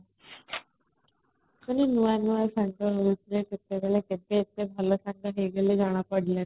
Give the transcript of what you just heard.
ଖାଲି ନୁଆ ସାଙ୍ଗ ହଉଥିଲେ କେତେବେଳେ କେତେ ଏତେ ଭଲ ସାଙ୍ଗ ହେଇଗଲେ ଜଣାପଡ଼ିଲାଣି |